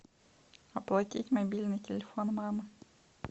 оплатить мобильный телефон мамы